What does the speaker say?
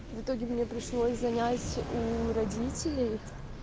в итоге мне пришлось занять у родителей